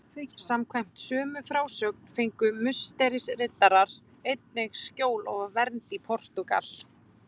Samkvæmt sömu frásögn fengu Musterisriddarar einnig skjól og vernd í Portúgal.